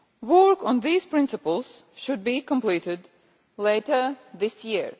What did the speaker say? Work on these principles should be completed later this year.